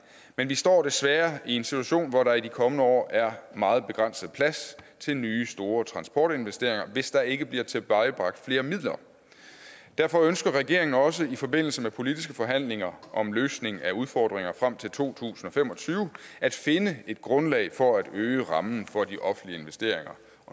men vi står desværre i en situation hvor der i de kommende år er meget begrænset plads til nye store transportinvesteringer hvis der ikke bliver tilvejebragt flere midler derfor ønsker regeringen også i forbindelse med politiske forhandlinger om løsning af udfordringer frem til to tusind og fem og tyve at finde et grundlag for at øge rammen for de offentlige investeringer